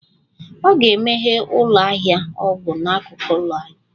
Ọ ga-emeghe ụlọ ahịa ọgwụ n'akụkụ ụlọ anyị